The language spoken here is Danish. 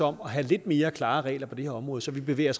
om have lidt mere klare regler på det her område så vi bevæger